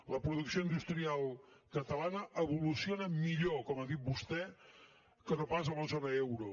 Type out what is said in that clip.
la producció industrial catalana evoluciona millor com ha dit vostè que no pas a la zona euro